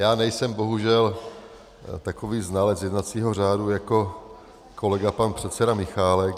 Já nejsem bohužel takový znalec jednacího řádu jako kolega pan předseda Michálek.